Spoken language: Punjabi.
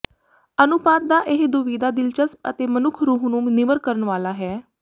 ਅਨੁਪਾਤ ਦਾ ਇਹ ਦੁਵਿਧਾ ਦਿਲਚਸਪ ਅਤੇ ਮਨੁੱਖ ਰੂਹ ਨੂੰ ਨਿਮਰ ਕਰਨ ਵਾਲਾ ਹੈ